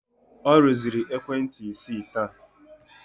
Ọ rụziri ekwentị isii taa